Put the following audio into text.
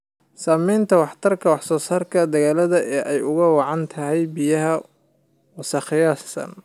Saamaynta waxtarka wax-soo-saarka dalagga oo ay ugu wacan tahay biyaha wasakhaysan.